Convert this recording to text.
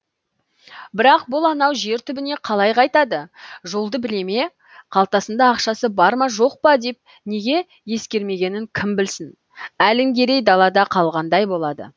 бірақ бұл анау жер түбіне қалай қайтады жолды біле ме қалтасында ақшасы бар ма жоқ па деп неге ескермегенін кім білсін әлімгерей далада қалғандай болады